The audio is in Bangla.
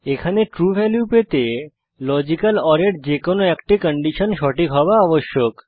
এখানে ট্রু ভ্যালু পেতে লজিক্যাল ওর এর যে কোনো একটি কন্ডিশন সঠিক হওয়া আবশ্যক